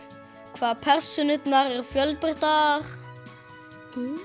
hvað persónurnar eru fjölbreyttar